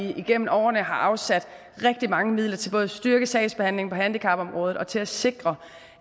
vi igennem årene har afsat rigtig mange midler til både at styrke sagsbehandlingen på handicapområdet og til at sikre